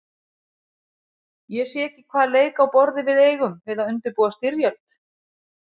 Ég sé ekki hvaða leik á borði við eigum við að undirbúa styrjöld.